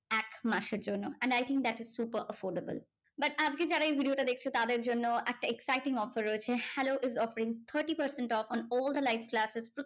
এক মাসের জন্য। and I think that is super affordable. but আজকে যারা এই video টা দেখছে তাদের জন্য একটা exciting offer রয়েছে। hello is offering thirty percent on all the live classes.